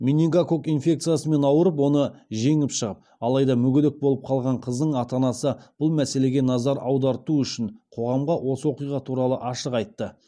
менингококк инфекциясымен ауырып оны жеңіп шығып алайда мүгедек болып қалған қыздың ата анасы бұл мәселеге назар аударту үшін қоғамға осы оқиға туралы ашық айтты